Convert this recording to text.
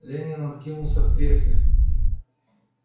ленин откинулся в кресле